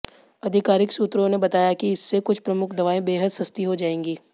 आधिकारिक सूत्रों ने बताया कि इससे कुछ प्रमुख दवाएं बेहद सस्ती हो जाएंगी